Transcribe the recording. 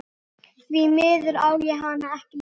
Því miður á ég hana ekki lengur.